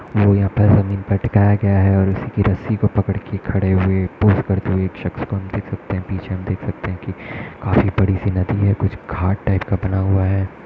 और यह पर जमीन पर टिकाया गया है और उसकी रस्सी को पकड़ के खड़े हुए है पोज़ करते हुए एक शख्स को हम देख सकते हैं पीछे हम देख सकते हैं काफी बड़ी सी नदी है कुछ घाट टाइप का बना हुआ है।